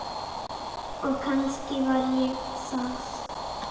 Og kannski var ég það.